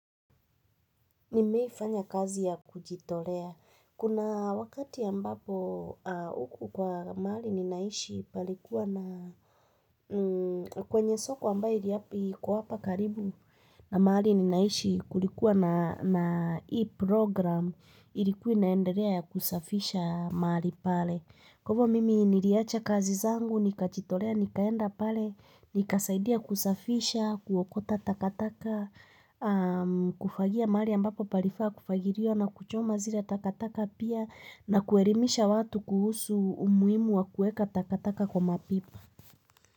Nimeifanya kazi ya kujitolea. Kuna wakati ambapo huku kwa mahali ninaishi palikuwa na kwenye soko ambayo iliapi iko hapa karibu na mahali ninaishi kulikuwa na hii program ilikuwa inaendelea ya kusafisha mahali pale. Kwa hivo mimi niliacha kazi zangu, nikajitolea, nikaenda pale, nikasaidia kusafisha, kuokota takataka, kufagia mahali ambapo palifaa kufagiliwa na kuchoma zile takataka pia na kuelimisha watu kuhusu umuhimu wa kuweka takataka kwa mapipa.